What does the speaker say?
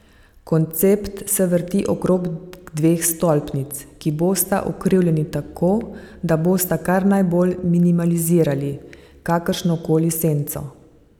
Koncept se vrti okrog dveh stolpnic, ki bosta ukrivljeni tako, da bosta kar najbolj minimalizirali kakršno koli senco.